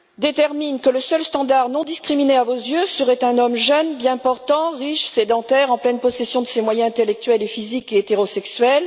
détermine que la seule norme à vos yeux serait un homme jeune, bien portant, riche, sédentaire, en pleine possession de ses moyens intellectuels et physiques et hétérosexuel.